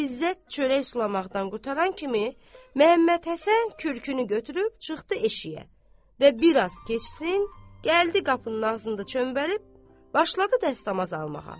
İzzət çörək sulamaqdan qurtaran kimi Məhəmməd Həsən kürünü götürüb çıxdı eşiyə və bir az keçsin, gəldi qapının ağzında çöməlib başladı dəstəmaz almağa.